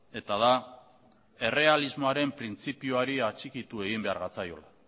eta da errealismoaren printzipioari atxikitu egin behar gatzaiola